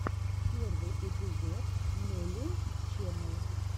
первый эпизод нелил ченел